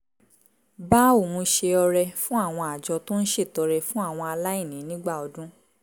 bá òun ṣe ọrẹ fún àwọn àjọ tó ń ṣètọrẹ fún àwọn aláìní nígbà ọdún